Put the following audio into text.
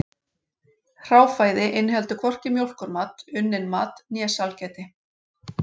Hráfæði inniheldur hvorki mjólkurmat, unnin mat né sælgæti.